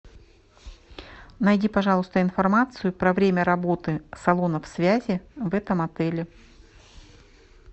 найди пожалуйста информацию про время работы салонов связи в этом отеле